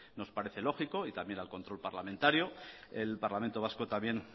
nos parece lógico y también el control parlamentario el parlamento vasco también